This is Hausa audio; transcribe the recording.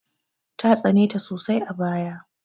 Ta tsane ta sosai a baya.